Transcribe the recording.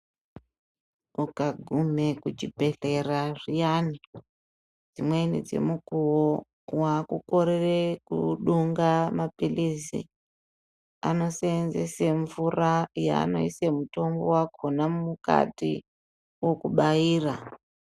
Ukagume kuchibhehlera zviyani dzimweni dzemukuwo wakukorera kudonga mapirizi anoseenzese mvura yaanoisa mutombo yakhona mukati okubaira.